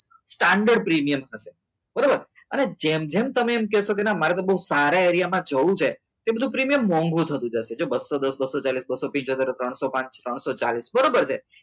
standard premium હશે બરાબર અને જેમ જેમ તમે એમ કહેશો કે ના મારે તો એ સારી રીતે જવું છે તે બધું પ્રીમિયમ મોંઘું થતું જશે જો બસોદાસ બસોચાલીસ બસોપંચ ત્રણસો ચાલીસ બરાબર છે